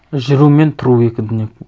жүру мен тұру екі дүние